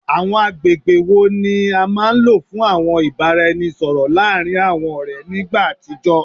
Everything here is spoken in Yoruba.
Awọn agbegbe wo ni a maa n lo fun awọn ibaraẹnisọrọ laarin awọn ọrẹ ni igba atijọ?